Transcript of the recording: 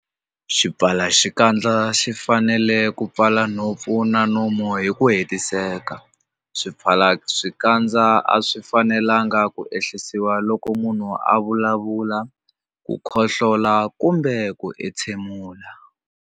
Xipfalaxikandza xi fanele ku pfala nhompfu na nomo hi ku hetiseka. Swipfalaxikandza a swi fanelanga ku ehlisiwa loko munhu a vulavula, khohlola kumbe ku entshemula.